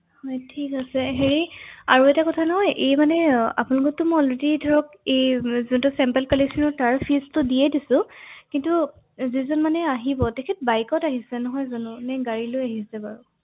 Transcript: হয়